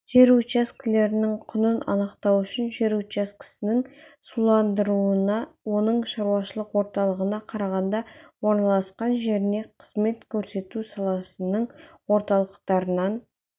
жер учаскелерінің құнын анықтау үшін жер учаскесінің суландырылуына оның шаруашылық орталығына қарағанда орналасқан жеріне қызмет көрсету саласының орталықтарынан